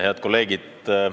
Head kolleegid!